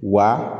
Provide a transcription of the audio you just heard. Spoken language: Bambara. Wa